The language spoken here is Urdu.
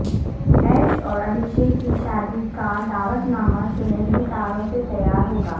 ایش اور ابھیشیک کی شادی کا دعوت نامہ سنہری تاروں سے تیار ہوگا